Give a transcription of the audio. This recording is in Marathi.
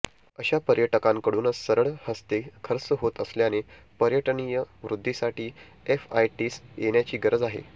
अशा पर्यटकांकडूनच सढळ हस्ते खर्च होत असल्याने पर्यटनीय वृद्धीसाठी एफआयटीस येण्याची गरज आहे